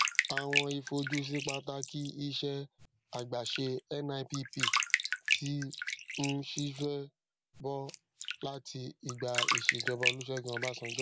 awọn ifojusi pataki iṣẹ àgbàṣe nipp ti ń ṣiṣẹ bọ láti ìgbà ìṣèjọba olusegun obasanjo